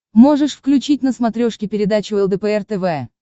можешь включить на смотрешке передачу лдпр тв